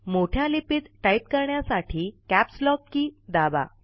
मोठ्या लिपीत टाईप करण्यासाठी कॅपस्लॉक के दाबा